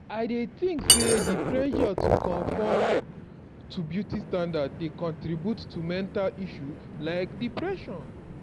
i dey think say di pressure to conform to beauty satndard dey contribute to mental issue like depression.